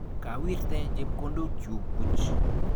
Kawirte chepkondokchu buch.